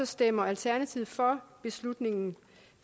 stemmer alternativet for